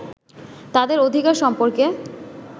তাদের অধিকার সম্পর্কে